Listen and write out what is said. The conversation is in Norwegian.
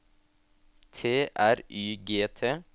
T R Y G T